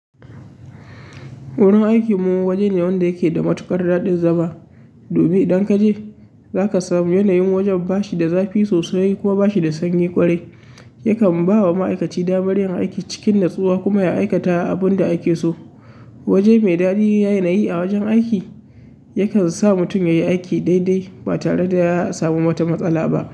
Wurin aiki mu waje ne wanda yake da matuƙar daɗin zama. Dumin idan kaje, zaka samu yanayin wajen bashi da zafi sosai kuma bashi da sanyi ƙwarai. Yakan bawa ma'aikaci damar yin aiki cikin natsuwa kuma ya aikata abun da ake so. Waje mai daɗi da yanayi a wajen aiki, yakan sa mutum yayi aiki daidai ba tare da ya samu wata matsala ba.